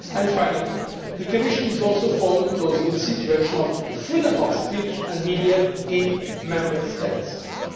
Finally, the Commission is also following the situation of freedom of speech and media in Member States